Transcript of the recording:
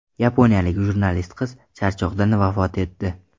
Yaponiyalik jurnalist qiz charchoqdan vafot etdi.